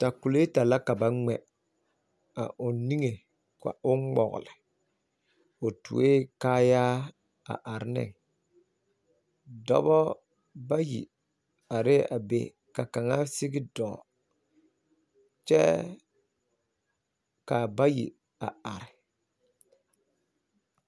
Atakuleeta la ka ba gmɛ ka'o, nige gmɔgle. O tuo la kaayaa a are ne. Dɔbɔ bayi are la a be ka kaŋa dɔɔ teŋa kyɛ ka bayi are